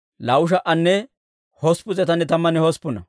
Zakkaaya yaratuu 760.